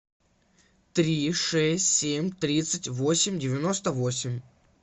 три шесть семь тридцать восемь девяносто восемь